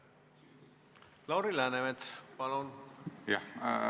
Lauri Läänemets, palun!